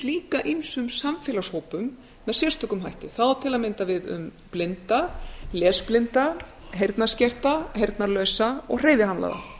líka ýmsum samfélagshópum með sérstökum hætti það á til að mynda við um blinda lesblinda heyrnarskerta heyrnarlausa og hreyfihamlaða